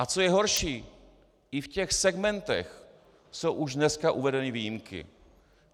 A co je horší, i v těch segmentech jsou už dneska uvedeny výjimky.